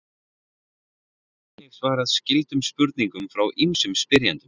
Hér er einnig svarað skyldum spurningum frá ýmsum spyrjendum.